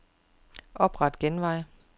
Opret genvej.